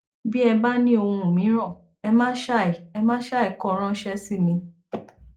bí ẹ bá ní ohun mìíràn ẹ má ṣàì ẹ má ṣàì kọ ráńṣẹ sí mi